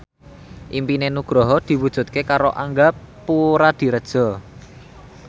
impine Nugroho diwujudke karo Angga Puradiredja